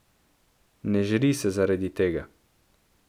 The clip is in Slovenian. Ne žri se zaradi tega.